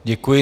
Děkuji.